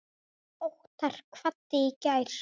Óttar kvaddi í gær.